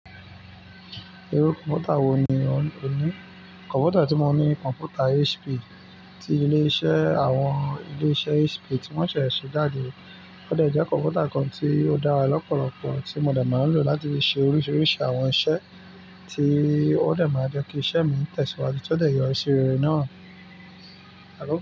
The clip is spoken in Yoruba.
Irú kọ̀mpútà wò ní ọ ní? Kọ̀mpútà tí mo ní, kọ̀mpútà HP tí ilé-iṣẹ́ àwọn ilé-iṣẹ́ HP tí wọ́n ṣẹ̀ ṣẹ̀ jáde. Ó dẹ́ je kọ̀mpútà kan tí ó dára lọ́pọ̀lọ́pọ̀ tí mo de máa ń lò láti fi ṣe oríṣiríṣi àwọn iṣẹ́, tí ó de máa jẹ́ kí iṣẹ́ mi tẹ̀síwájú tí ó de yọrí sí rere náà.